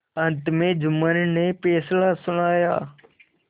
अंत में जुम्मन ने फैसला सुनाया